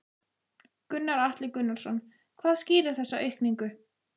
Gunnar Atli Gunnarsson: Hvað skýrir þessa aukningu?